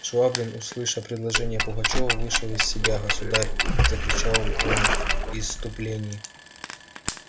швабрин услыша предложение пугачёва вышел из себя государь закричал он в исступлении